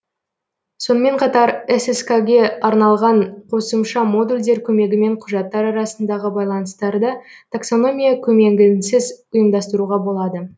сонымен қатар сск ге арналған қосымша модульдер көмегімен құжаттар арасындағы байланыстарды таксономия көмегінсіз ұйымдастыруға болады